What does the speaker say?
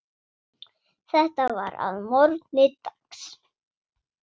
Þetta var að morgni dags.